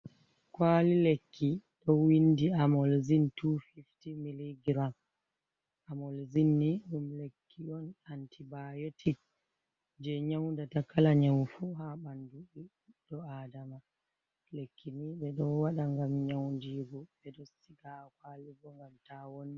Kwali lekki ɗo windi amolzin 250 mg, amolzini ɗum lekki on antibayotic je nyaudata kala nyaufu ha bandudo ɓeɗo adama, lekki ni ɓe ɗo waɗa ngam nyaundigu be ɗo siga ha kwali bo ngam tawonna.